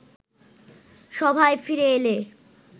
সভায় ফিরে এলে